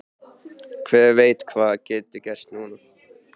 Hver veit hvað getur gerst núna?